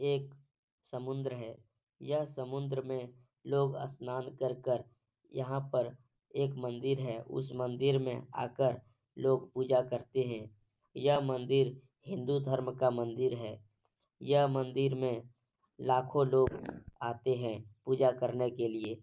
एक समुंद्र है। यह समुंद्र में लोग स्नान कर कर यहाँ पर एक मंदिर है। उस मंदिर मे आकार लोग पूजा करते हैं। यह मंदिर हिन्दू धर्म का मंदिर है। यह मंदिर में लाखों लोग आते हैं पूजा करने के लिए।